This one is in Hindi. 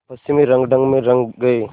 पश्चिमी रंगढंग में रंग गए